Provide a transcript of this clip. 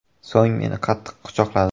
So‘ng meni qattiq quchoqladi.